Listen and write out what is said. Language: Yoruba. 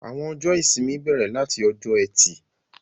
Àwọn ọjọ́ ìsinmi bẹrẹ lati ọjọ́ Ẹtì.